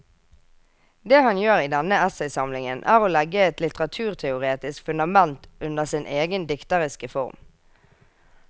Det han gjør i denne essaysamlingen er å legge et litteraturteoretisk fundament under sin egen dikteriske form.